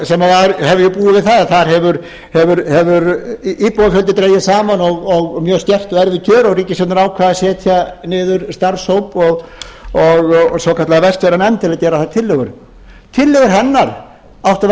sem hefðu búið við það að þar hefur íbúafjöldi dregist saman og mjög skert og erfið kjör og ríkisstjórnin ákvað að setja niður starfshóp og svokallaða vestfjarðanefnd til að gera þar tillögur tillögur hennar áttu að vera